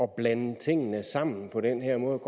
blande tingene sammen på den her måde